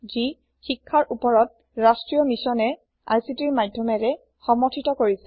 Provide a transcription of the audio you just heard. যি শিক্ষাৰ ওপৰত ৰাষ্ট্ৰীয় মিচ্যনে ICTৰ মাধ্যমেৰে সমৰ্থিত কৰিছে